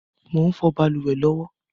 Mò ń fọ̀ balùwẹ̀ lọ́wọ́